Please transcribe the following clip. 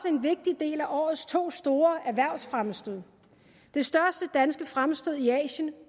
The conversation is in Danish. en vigtig del af årets to store erhvervsfremstød de største danske fremstød i asien